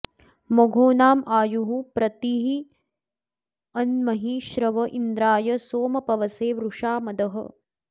म॒घोना॒मायुः॑ प्रति॒रन्महि॒ श्रव॒ इन्द्रा॑य सोम पवसे॒ वृषा॒ मदः॑